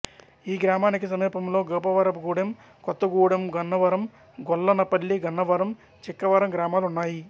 ఈ గ్రామానికి సమీపంలో గోపవరపుగూడెం కొత్తగూడెంగన్నవరం గొల్లనపల్లి గన్నవరం చిక్కవరం గ్రామాలు ఉన్నాయి